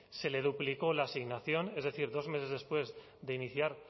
se le duplicó la asignación es decir dos meses después